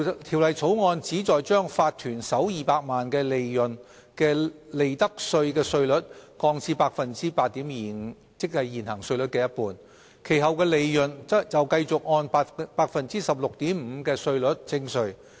《條例草案》旨在將法團首200萬元利潤的利得稅稅率降至 8.25%， 即現行稅率的一半，其後的利潤則繼續按 16.5% 的稅率徵稅。